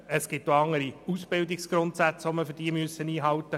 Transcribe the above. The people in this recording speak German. Es müssen auch andere Ausbildungsgrundsätze eingehalten werden.